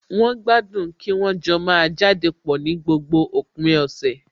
Wọ́n gbádùn kí wọ́n jọ máa jáde pọ̀ ní gbogbo òpin ọ̀sẹ̀